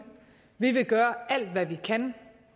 vi vil gøre alt hvad vi kan